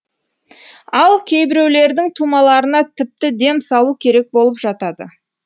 ал кейбіреулердің тумаларына тіпті дем салу керек болып жатады